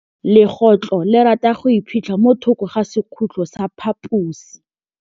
Legôtlô le rata go iphitlha mo thokô ga sekhutlo sa phaposi.